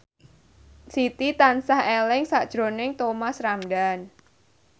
Siti tansah eling sakjroning Thomas Ramdhan